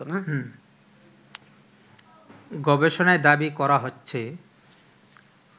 গবেষণায় দাবি করা হচ্ছে